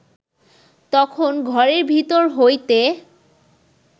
তখন ঘরের ভিতর হইতে